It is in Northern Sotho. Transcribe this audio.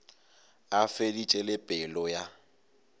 a feditše le pelo ya